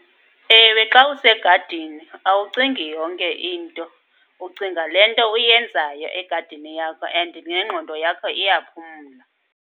Ewe, xa usegadini awucingi yonke into, ucinga le nto uyenzayo egadini yakho and nengqondo yakho iyaphumla.